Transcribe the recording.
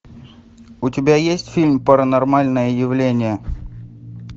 у тебя есть фильм паранормальное явление